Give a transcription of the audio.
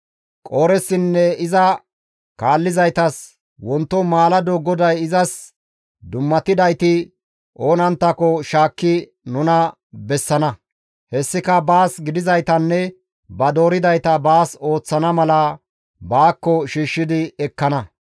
Qooressinne iza kaallizaytas, «Wonto maalado GODAY izas dummatidayti oonanttako izi shaakki nuna bessana; hessika baas gidizaytanne ba dooridayta baas ooththana mala baakko shiishshi ekkana.